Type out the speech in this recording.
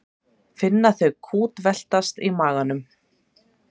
Finna þau kútveltast í maganum.